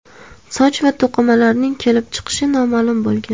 Soch va to‘qimalarning kelib chiqishi noma’lum bo‘lgan.